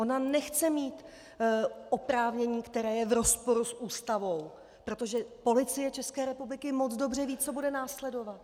Ona nechce mít oprávnění, které je v rozporu s Ústavou, protože Policie České republiky moc dobře ví, co bude následovat.